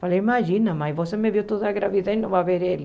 Falei, imagina, mãe, você me viu toda gravidez e não vai ver ele.